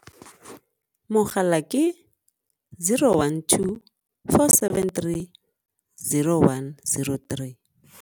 Mogala ke 012 473 0103.